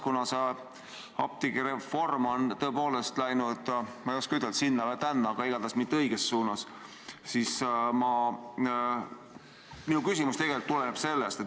Kuna see apteegireform on tõepoolest läinud, ma ei oska ütelda, sinna ja tänna, aga igatahes mitte õiges suunas, siis minu küsimus tulenebki sellest.